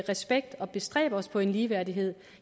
respekt og bestræbe os på ligeværdighed